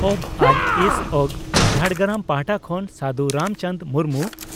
ᱵᱹᱡᱹᱥᱹᱚᱹᱜᱹ ᱡᱷᱟᱲᱜᱨᱟᱢ ᱯᱟᱦᱴᱟ ᱠᱷᱚᱱ ᱥᱟᱹᱫᱷᱩ ᱨᱟᱢᱪᱟᱱᱫᱽ ᱢᱩᱨᱢᱩ